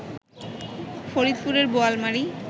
ফরিদপুরের বোয়ালমারী